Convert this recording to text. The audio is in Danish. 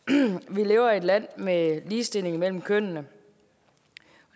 vi lever i et land med ligestilling mellem kønnene